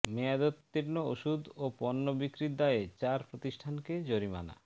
মেয়াদোত্তীর্ণ ওষুধ ও পণ্য বিক্রির দায়ে চার প্রতিষ্ঠানকে জরিমানা